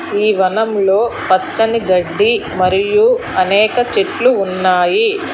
ఈ వనంలో పచ్చని గడ్డి మరియు అనేక చెట్లు ఉన్నాయి.